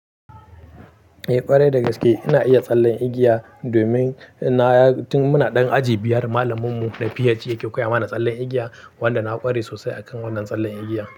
Eh, ƙwarai da gaske ina iya tsallen igiya domin na ya, tun muna ɗan aji biyar malamin mu na PH ke koya mana tsallen igiya wanda na ƙware sosai akan wannan tsallen igiyan.